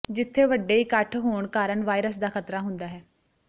ਜਿਥੇ ਵੱਡੇ ਇਕੱਠ ਹੋਣ ਕਾਰਨ ਵਾਇਰਸ ਦਾ ਖ਼ਤਰਾ ਹੁੰਦਾ ਹੈ